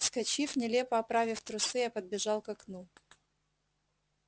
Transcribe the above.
вскочив нелепо оправив трусы я подбежал к окну